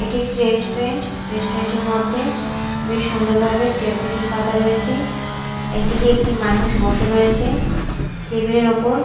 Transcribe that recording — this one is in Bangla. এটি একটি রেস্টুরেন্ট রেস্টুরেন্ট -এর মধ্যে বেশ সুন্দরভাবে চেয়ার টেবিল পাতা রয়েছে এদিকে একটি মানুষ বসে রয়েছে টেবিল -এর ওপর।